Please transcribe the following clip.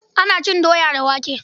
Ana cin doya da wake.